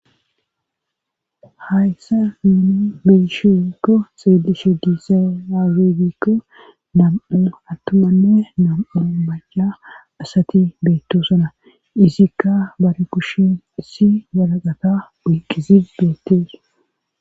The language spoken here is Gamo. Hayssa min melishiikko xeelishe diisa aregikko dam7o attumanne nam7un baya asati beettosana izikka bare kushin issi walaqata buyqqisi beettees.